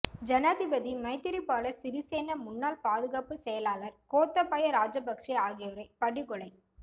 ஜனாதிபதி மைத்திரிபால சிறிசேன முன்னாள் பாதுகாப்பு செயலாளர் கோத்தபாய ராஜபக்ச ஆகியோரை படு கொலை